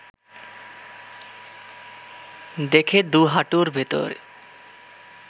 দেখে দু’হাঁটুর ভেতর